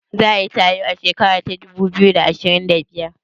Za a yi taro a shekara ta dubu biyu da ashirin da biyar?